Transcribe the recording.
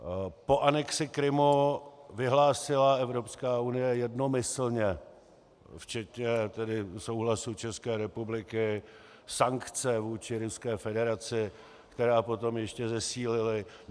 Po anexi Krymu vyhlásila Evropská unie jednomyslně, včetně tedy souhlasu České republiky, sankce vůči Ruské federaci, které potom ještě zesílila.